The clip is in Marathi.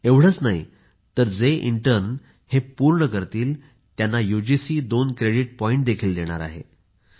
एवढेच नाही तर जे प्रशिक्षुक हे पूर्ण करतील त्यांना युजीसी दोन क्रेडीट पॉईंट देखील देणार आहे